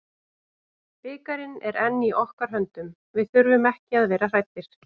Bikarinn er enn í okkar höndum, við þurfum ekki að vera hræddir.